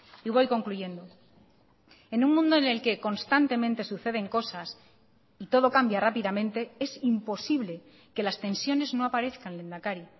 y voy concluyendo en un mundo en el que constantemente suceden cosas y todo cambia rápidamente es imposible que las tensiones no aparezcan lehendakari